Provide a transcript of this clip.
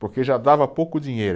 Porque já dava pouco dinheiro.